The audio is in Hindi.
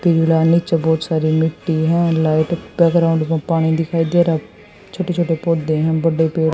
पीला नीचे बहुत सारा मिट्टी है लाइट ग्राउंड में पानी दिखाई दे रहा है छोटे छोटे पौधे हैं बड़े पेड़ --